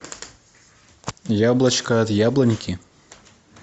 яблочко от яблоньки